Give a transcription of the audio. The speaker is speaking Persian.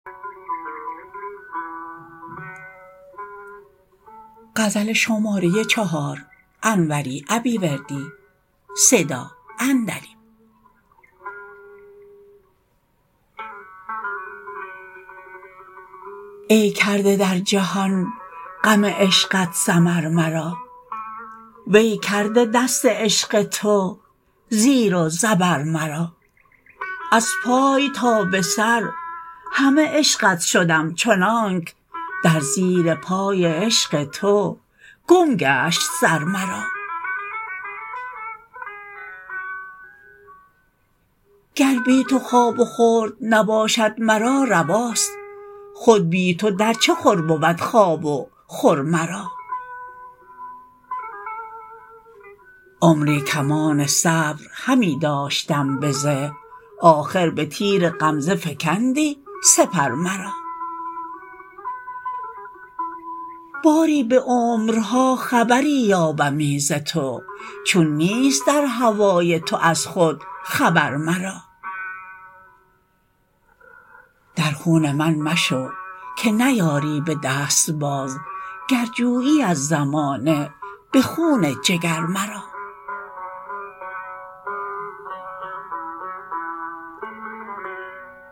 ای کرده در جهان غم عشقت سمر مرا وی کرده دست عشق تو زیر و زبر مرا از پای تا به سر همه عشقت شدم چنانک در زیر پای عشق تو گم گشت سر مرا گر بی تو خواب و خورد نباشد مرا رواست خود بی تو در چه خور بود خواب و خور مرا عمری کمان صبر همی داشتم به زه آخر به تیر غمزه فکندی سپر مرا باری به عمرها خبری یابمی ز تو چون نیست در هوای تو از خود خبر مرا در خون من مشو که نیاری به دست باز گر جویی از زمانه به خون جگر مرا